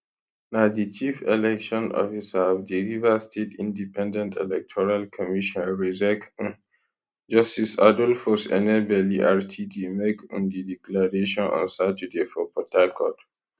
na di chief election officer of di rivers state independent electoral commission rsiec um justice adolphus enebeli rtd make um di declaration on saturday for port harcourt